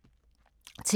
TV 2